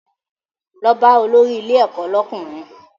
Lọ bá olórí ilé ẹ̀kọ́ lọ́kùnrin!